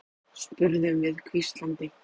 spurðum við hvíslandi.